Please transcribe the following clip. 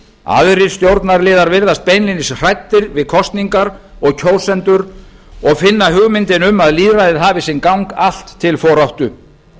aðrir stjórnarliðar virðast beinlínis hræddir við kosningar og kjósendur og finna hugmyndinni um að lýðræðið hafi sinn gang allt til foráttu